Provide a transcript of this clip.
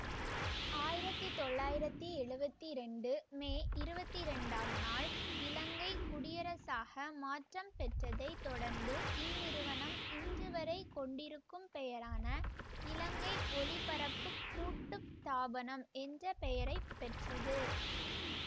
ஆயிரத்தி தொள்ளாயிரத்தி எழுவத்தி இரண்டு மே இருபத்தி ரேண்டம் நாள் இலங்கை குடியரசாக மாற்றம் பெற்றதை தொடர்ந்து இந்நிறுவனம் இன்றுவரை கொண்டிருக்கும் பெயரான இலங்கை ஒலிபரப்புக் கூட்டுத்தாபனம் என்ற பெயரை பெற்றது